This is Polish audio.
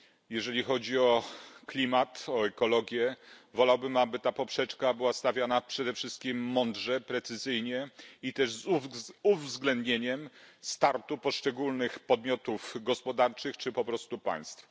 Jeżeli chodzi o klimat, o ekologię, wolałbym, aby ta poprzeczka była stawiana przede wszystkim mądrze, precyzyjnie i z uwzględnieniem startu poszczególnych podmiotów gospodarczych czy po prostu państwa.